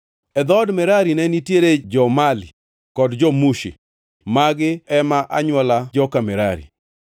E dhood Merari ne nitiere jo-Mali kod jo-Mushi; magi ema anywola joka Merari.